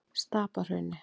Stapahrauni